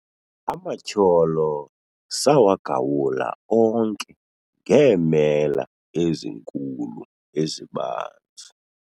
Amatyholo sawagawula onke ngeemela ezinkulu ezibanzi